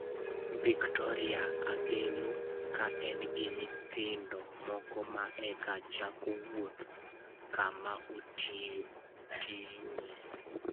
Victoria Angelo ka en gi nyithindo moko ma eka chako wuoth, kama otiyoe.